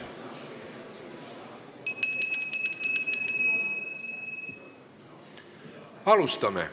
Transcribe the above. Alustame.